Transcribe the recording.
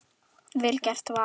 Vel gert, Valur.